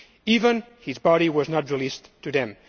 Even his body was not released to them.